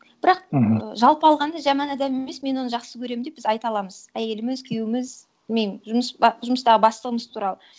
бірақ мхм жалпы алғанда жаман адам емес мен оны жақсы көремін деп біз айта аламыз әйеліміз күйеуіміз білмеймін жұмыс жұмыстағы бастығымыз туралы